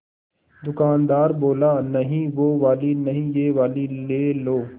दुकानदार बोला नहीं वो वाली नहीं ये वाली ले लो